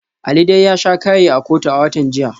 Ali dai ya sha kaye a kotu a watan jiya.